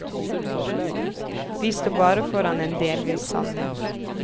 Vi står bare foran en delvis sannhet.